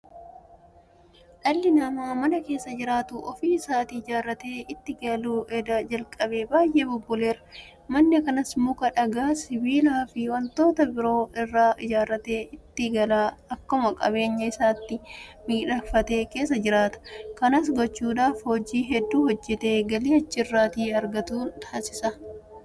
Dhalli namaa mana keessa jiraatu ofii isaatii ijaarratee itti galuu edda jalqabee baay'ee bubbuleera. Mana kanas Muka, Dhagaa, Sibiilaafi waantota biroo irraa ijaarratee itti gala. Akkuma qabeenya isaatti miidhakfatee keessa jiraata. Kanas gochuudhaaf hojii hedduu hojjetee galii achi irraa argatuun taasisa.